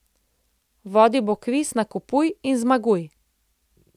Vodil bo kviz Nakupuj in Zmaguj.